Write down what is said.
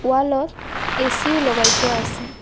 ৱালত এ_চি ও লগাই থোৱা আছে।